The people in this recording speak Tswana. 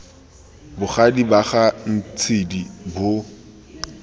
bogadi ba ga ntshidi bo